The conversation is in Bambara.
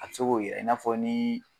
A bɛ se k'o yirɛ i n'a fɔ ni